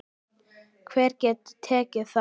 Hver getur tekið þátt?